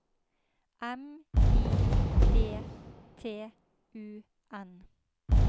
M I D T U N